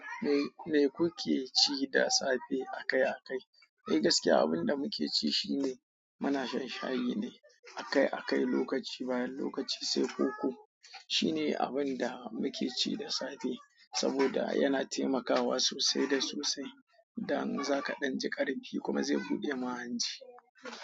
Me, me kuke ci da safe a kai a kai? Eh gaskiya, abin da muke ci shine, muna shan shayi ne, a kai a kai, lokaci bayan lokaci, sai koko. Shine abin da muke ci da safe, saboda yana taimakawa sosai da sosai. Dan za ka dan ji ƙarfi kuma zai buɗe ma hanji.